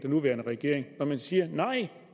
nuværende regering når man siger nej